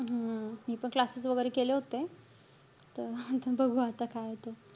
हम्म मी पण classes वगैरे केले होते. तर बघू आता काये ते.